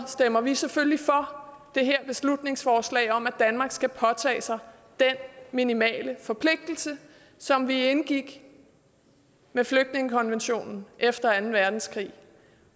stemmer vi selvfølgelig for det her beslutningsforslag om at danmark skal påtage sig den minimale forpligtelse som vi indgik med flygtningekonventionen efter anden verdenskrig